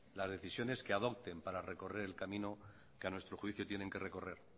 las decisiones que adopten para recorrer el camino que a nuestro juicio tienen que recorrer